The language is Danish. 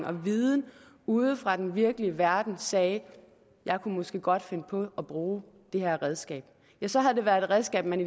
og viden ude fra den virkelige verden sagde jeg kunne måske godt finde på at bruge det her redskab ja så havde det været et redskab man